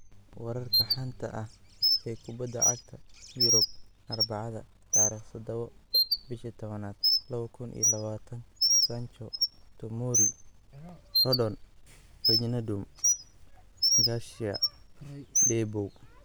Wararka xanta ah ee kubada cagta yurub Arbacada 07.10.2020: Sancho, Tomori, Rodon, WIJNADUM, Garcia, Deboow